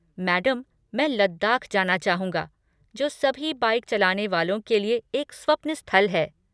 Madam, मैं लद्दाख जाना चाहूँगा, जो सभी बाइक चलाने वालों के लिए एक स्वप्न स्थल है।